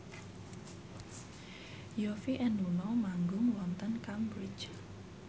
Yovie and Nuno manggung wonten Cambridge